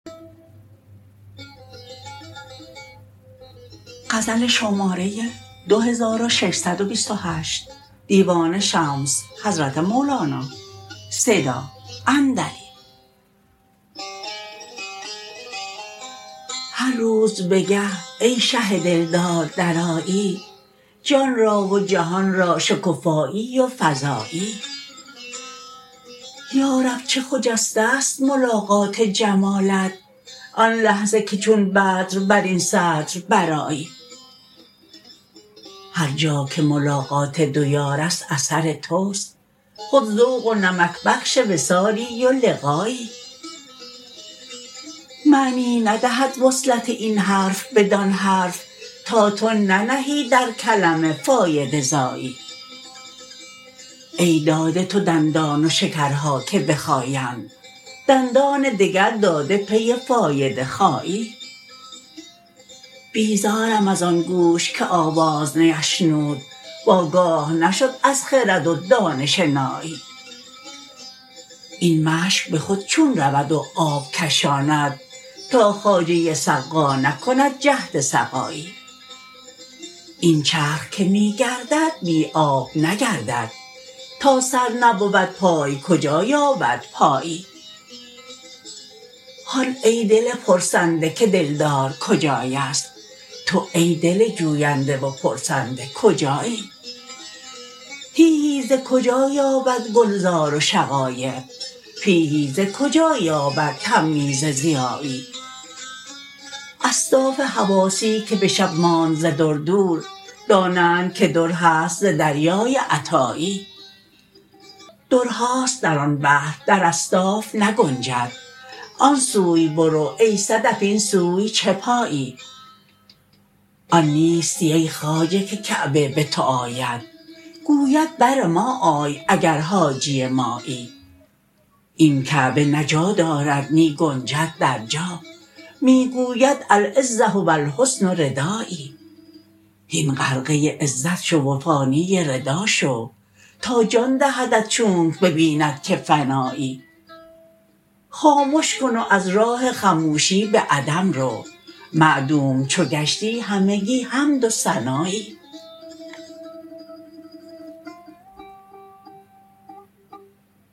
هر روز بگه ای شه دلدار درآیی جان را و جهان را شکفانی و فزایی یا رب چه خجسته ست ملاقات جمالت آن لحظه که چون بدر بر این صدر برآیی هر جا که ملاقات دو یار است اثر توست خود ذوق و نمک بخش وصالی و لقایی معنی ندهد وصلت این حرف بدان حرف تا تو ننهی در کلمه فایده زایی ای داده تو دندان و شکرها که بخایند دندان دگر داده پی فایده خایی بیزارم از آن گوش که آواز نی اشنود و آگاه نشد از خرد و دانش نایی این مشک به خود چون رود و آب کشاند تا خواجه سقا نکند جهد سقایی این چرخ که می گردد بی آب نگردد تا سر نبود پای کجا یابد پایی هان ای دل پرسنده که دلدار کجای است تو ای دل جوینده و پرسنده کجایی تیهی ز کجا یابد گلزار و شقایق پیهی ز کجا یابد تمییز ضیایی اصداف حواسی که به شب ماند ز در دور دانند که در هست ز دریای عطایی درهاست در آن بحر در اصداف نگنجد آن سوی برو ای صدف این سوی چه پایی آن نیستی ای خواجه که کعبه به تو آید گوید بر ما آی اگر حاجی مایی این کعبه نه جا دارد نی گنجد در جا می گوید العزه و الحسن ردایی هین غرقه عزت شو و فانی ردا شو تا جان دهدت چونک ببیند که فنایی خامش کن و از راه خموشی به عدم رو معدوم چو گشتی همگی حد و ثنایی